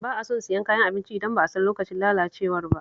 Ba a son siyan kayan abinci idan ba a san lokacin lalacewar ba